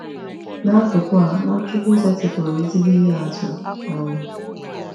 N’akụkụ a, Nwachukwu setịpụrụ ezigbo ihe atụ. um